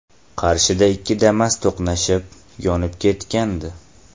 Qarshida ikki Damas to‘qnashib, yonib ketgandi.